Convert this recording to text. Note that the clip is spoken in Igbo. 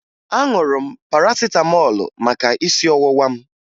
Aṅụrụ m parasịtamọọlụ maka isi ọwụwa m